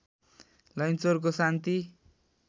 लैनचौरको शान्ति